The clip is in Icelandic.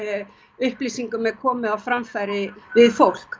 upplýsingum er komið á framfæri við fólk